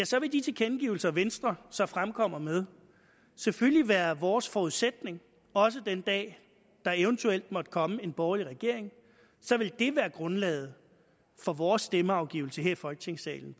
så vil de tilkendegivelser venstre så fremkommer med selvfølgelig være vores forudsætning også den dag der eventuelt måtte komme en borgerlig regering så vil det være grundlaget for vores stemmeafgivelse her i folketingssalen